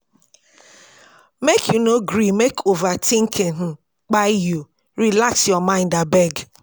Make you no gree make overtinking kpai you, relax your mind abeg.